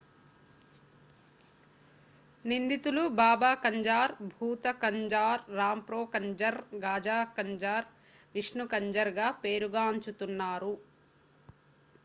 నిందితులు బాబా కంజార్ భూత కంజార్ రాంప్రో కంజర్ గాజా కంజర్ విష్ణు కంజర్ గా పేరుగాం చుతున్నారు